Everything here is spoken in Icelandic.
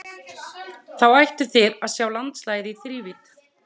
Þá ættuð þið að sjá landslagið í þrívídd.